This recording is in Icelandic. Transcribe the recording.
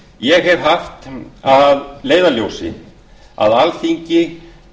ég hef haft að leiðarljósi að alþingi